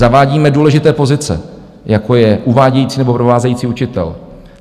Zavádíme důležité pozice, jako je uvádějící nebo provázející učitel.